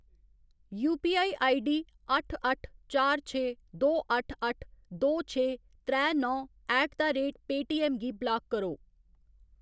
UPI ID अट्ठ अट्ठ चार छे दो अट्ठ अट्ठ दो छे त्रै नौ ऐट द रेट पेऽटीऐम्म गी ब्लाक करो।